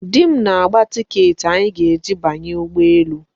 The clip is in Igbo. Di m na-agba tiiketị anyị ga-eji banye ụgbọ elu.